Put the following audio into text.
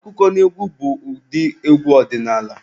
Akụkọnaegwu bụ ụdị egwu ọdinaala.